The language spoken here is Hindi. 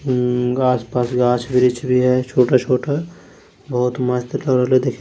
अम्म गाछ पाछ गाछ वृछ भी है छोटा छोटा बहुत मस्त लग रहल है देखने--